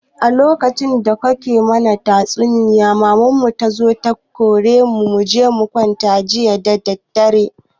A lokacin da kakan mu ke mana tatsuniya maman mu tazo ta kore mu muje mukwanta jiya dadadare